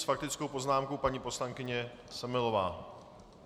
S faktickou poznámkou paní poslankyně Semelová.